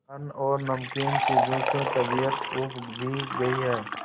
अन्न और नमकीन चीजों से तबीयत ऊब भी गई है